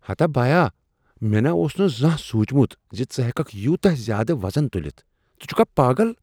ہتا بایا! مےٚ نا اوس نہٕ زانہہ سوچمت ژٕ ہیککھ یوتاہ زیادٕ وزن تلتھ، ژٕ چھکھا پاگل! !